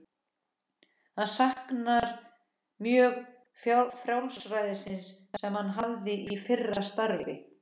Hann saknar mjög frjálsræðisins sem hann hafði í fyrra starfi.